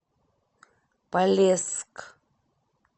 полесск